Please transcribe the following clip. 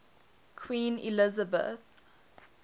queen elizabeth